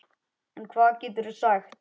En hvað geturðu sagt?